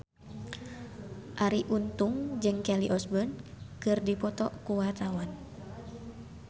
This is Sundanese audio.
Arie Untung jeung Kelly Osbourne keur dipoto ku wartawan